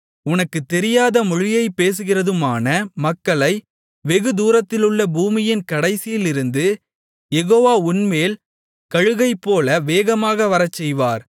உனக்குத் தெரியாத மொழியைப் பேசுகிறதுமான மக்களை வெகுதூரத்திலுள்ள பூமியின் கடைசியிலிருந்து யெகோவா உன்மேல் கழுகைப்போல வேகமாக வரச்செய்வார்